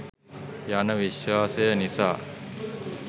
යන විශ්වාසය නිසා